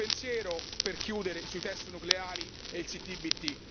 Un pensiero per chiudere sui test nucleari e il CTBT.